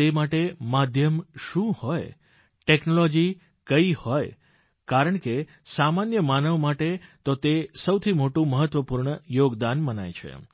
તે માટે માધ્યમ શું હોય ટેકનોલોજી કઇ હોય કારણ કે સામાન્ય માનવ માટે તો તે સૌથી મોટું મહત્વપૂર્ણ યોગદાન મનાય છે